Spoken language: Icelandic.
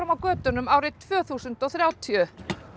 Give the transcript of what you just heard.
á götunum tvö þúsund og þrjátíu það